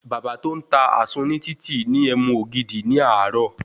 Bàbá tó n ta àsun ní títì ní ẹmu ògidì ní àárò